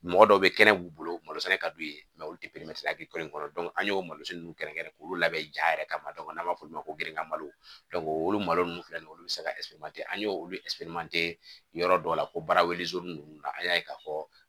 Mɔgɔ dɔw bɛ kɛnɛ b'u bolo malo sɛnɛ ka d'u ye olu tɛ kɔnɔ an y'o malo ninnu kɛrɛnkɛrɛn k'olu labɛn ja yɛrɛ kama n'an b'a f'olu ma ko grika malo olu malo ninnu filɛ nin ye olu bɛ se ka an y'o olu yɔrɔ dɔw la ko baara ninnu na an y'a ye k'a fɔ